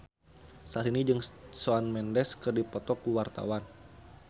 Syahrini jeung Shawn Mendes keur dipoto ku wartawan